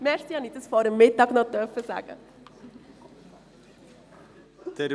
Danke, dass ich das noch vor dem Mittag sagen durfte.